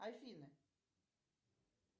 афина